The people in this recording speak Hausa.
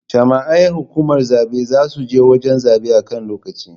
Jami'ai hukumar zabe za je wajan zabe a kan lokaci